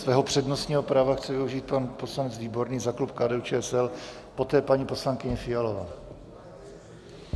Svého přednostního práva chce využít pan poslanec Výborný za klub KDU-ČSL, poté paní poslankyně Fialová.